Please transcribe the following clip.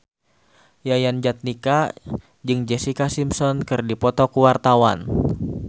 Yayan Jatnika jeung Jessica Simpson keur dipoto ku wartawan